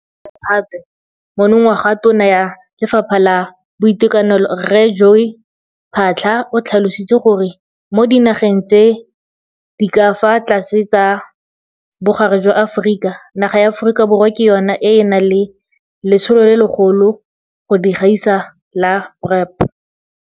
Ka kgwedi ya Phatwe monongwaga Tona ya Lefapha la Boitekanelo Rre Joe Phaahla o tlhalositse gore mo Dinageng tse di ka fa Tlase tsa Bogare jwa Aforika naga ya Aforika Borwa ke yona e e nang le letsholo le legolo go di gaisa la PrEP.